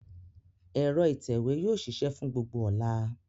Ẹ̀rọ ìtẹ̀wé yóò ṣiṣẹ́ fún gbogbo ọ̀la.